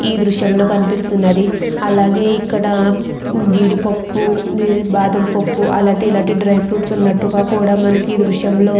ఈ దృశ్యంలో కనిపిస్తున్నది అలాగే ఇక్కడ జీడిపప్పు బాదంపప్పు అలాంటి ఇలాంటి డ్రై ఫ్రూట్స్ ఉన్నట్టు కూడా మనకి ఈ దృశ్యం లో--